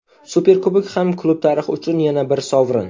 Superkubok ham klub tarixi uchun yana bir sovrin.